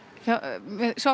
með Svavari